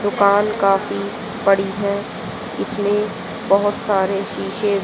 दुकान काफी बड़ी है इसमें बहुत सारे शीशे--